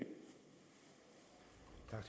er